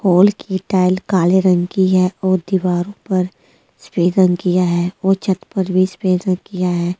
हाल की टाइल काले रंग की हैं और दीवारों पर सफेद रंग किया है और छत पर भी सफेद रंग किया है छत पर --